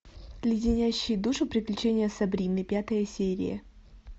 леденящие душу приключения сабрины пятая серия